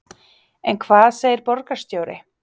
En hvað segir borgarstjóri?